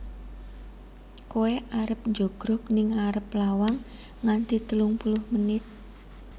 Koe arep njogrog ning arep lawang nganti telung puluh menit